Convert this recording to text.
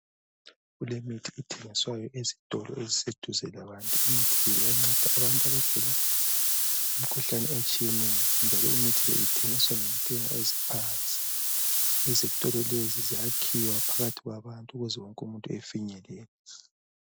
Kulemithi ethengiswayo ezitolo eziseduze labantu imithi le yiyo enceda abantu abagula imikhuhlane etshiyeneyo njalo imithi leyi ithengiswa ngentengo eziphansi. Izitolo lezi zakhiwa phakathi kwabantu ukuze wonke umuntu afinyelele.